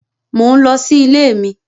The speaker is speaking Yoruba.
Mo ń lọ sí ilé mi